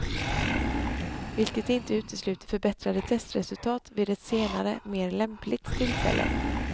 Vilket inte utesluter förbättrade testresultat vid ett senare, mer lämpligt tillfälle.